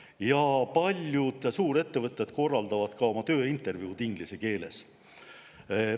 Ja paljud suurettevõtted korraldavad tööintervjuud inglise keeles.